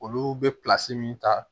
Olu bɛ min ta